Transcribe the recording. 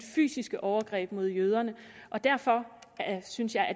fysiske overgreb mod jøderne og derfor synes jeg at